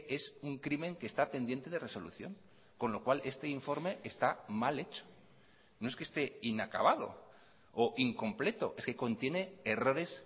es un crimen que está pendiente de resolución con lo cual este informe está mal hecho no es que esté inacabado o incompleto es que contiene errores